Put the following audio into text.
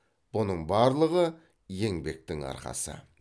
бұның барлығы еңбектің арқасы